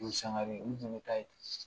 Umu Sangare n tun bɛ taa yen